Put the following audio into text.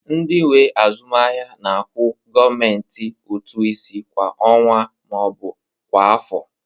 Ndị nwe azụmaahịa na-akwụ gọọmentị ụtụ isi kwa ọnwa ma ọ bụ kwa afọ